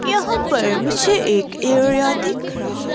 यहां पर मुझे एक एरिया दिख रहा है।